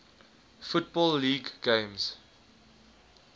football league games